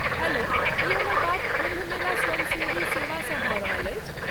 Hello, की हमर बात कुम्भ मेला स्वयंसेवी सेवासँ भऽ रहल अछि?